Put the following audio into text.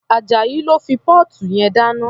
Ajayi ló fi póòtù yẹn dáná.